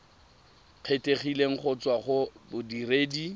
kgethegileng go tswa go bodiredi